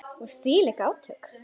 Og þvílík átök.